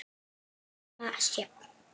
Amma Sjöfn.